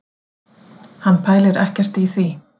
Hann pælir ekkert í því